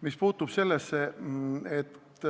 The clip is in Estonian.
Mis puutub sellesse, et